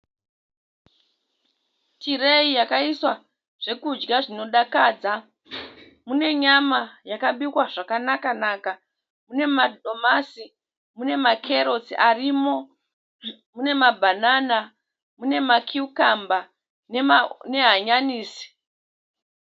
Tireyi yakaiswa zvekudya zvinodakadza. Mune nyama yakabikwa zvakanaka naka. Mune madomasi, mune makerotsi arimo, mune mabhanana, mune makiyukamba nehanyanisi.